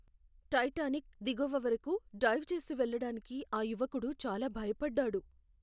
Titanic దిగువ వరకు dive చేసి వెళ్ళడానికి ఆ యువకుడు చాలా భయపడ్డాడు.